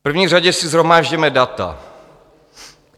V první řadě si shromážděme data.